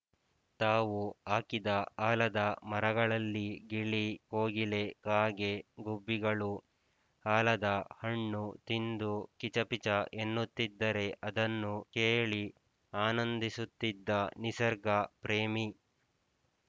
ತಾವು ಹಾಕಿದ ಆಲದ ಮರಗಳಲ್ಲಿ ಗಿಳಿ ಕೋಗಿಲೆ ಕಾಗೆ ಗುಬ್ಬಿಗಳು ಆಲದ ಹಣ್ಣು ತಿಂದು ಕಿಚಪಿಚ ಎನ್ನುತ್ತಿದ್ದರೆ ಅದನ್ನು ಕೇಳಿ ಆನಂದಿಸುತ್ತಿದ್ದ ನಿಸರ್ಗ ಪ್ರೇಮಿ